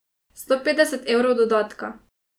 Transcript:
Sto petdeset evrov dodatka.